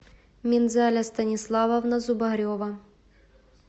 минзаля станиславовна зубарева